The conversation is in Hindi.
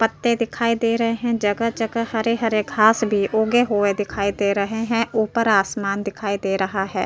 पत्ते दिखाई दे रहे हैं। जगह जगह हरे हरे घास भी उगे हुये दिखाई दे रहे हैं। ऊपर आसमान दिखाए दे रहा है।